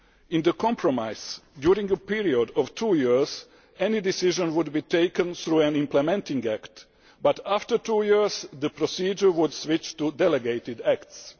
In the compromise, during a period of two years any decision would be taken through an implementing act, but after two years the procedure would switch to delegated acts.